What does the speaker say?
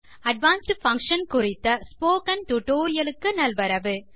advanced function குறித்த spoken tutorial க்கு நல்வரவு